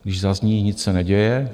Když zazní, nic se neděje.